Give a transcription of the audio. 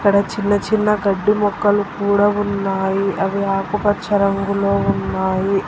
చిన్న చిన్న గడ్డి మొక్కలు కూడా ఉన్నాయి అవి ఆకుపచ్చ రంగులో ఉన్నాయి.